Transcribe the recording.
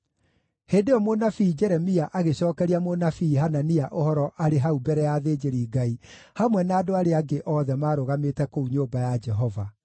Hĩndĩ ĩyo mũnabii Jeremia agĩcookeria mũnabii Hanania ũhoro arĩ hau mbere ya athĩnjĩri-Ngai hamwe na andũ arĩa angĩ othe marũgamĩte kũu nyũmba ya Jehova.